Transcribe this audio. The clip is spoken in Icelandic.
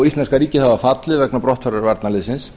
íslenska ríkið hafa fallið vegna brottfarar varnarliðsins